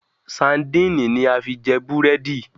Sandíínì ni a fi jẹ búrẹ́dì